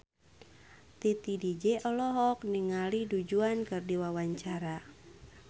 Titi DJ olohok ningali Du Juan keur diwawancara